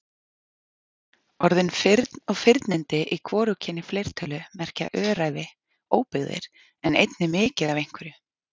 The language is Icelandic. Orðin firn og firnindi í hvorugkyni fleirtölu merkja öræfi, óbyggðir en einnig mikið af einhverju.